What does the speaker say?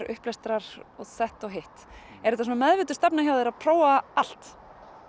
upplestrar og þetta og hitt er það meðvituð stefna hjá þér að prófa allt